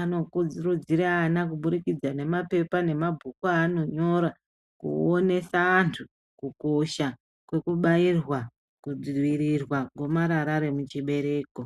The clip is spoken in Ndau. anokuridzira ana kuburikidza nemapepa nemabhuku anonyora kuonesa antu kukosha kwekubairwa kudzivirirwa gomarara remuchibereko.